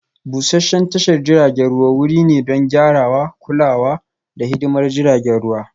Busasshen tashar jiragen ruwa wuri ne don gyarawa, kulawa, da hidimar jiragen ruwa